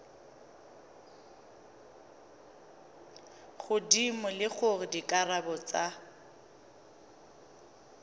godimo le gore dikarabo tsa